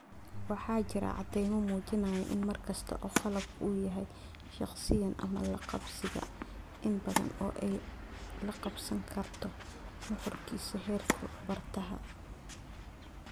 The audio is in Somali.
Waxaa jira cadaymo muujinaya in mar kasta oo qalabku uu yahay 'shaqsiyan' ama 'laqabsiga', in badan oo ay la qabsan karto nuxurkiisa heerka bartaha